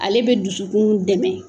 Ale be dusukun dɛmɛ